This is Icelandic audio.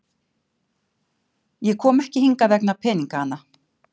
Ég kom ekki hingað vegna peningana.